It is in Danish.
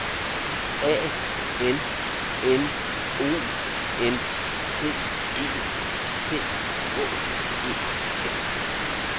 A N N O N C E C H E F